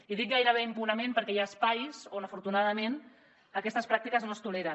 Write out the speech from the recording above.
i dic gairebé impunement perquè hi ha espais on afortunadament aquestes pràctiques no es toleren